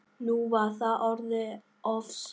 Nú var það orðið of seint.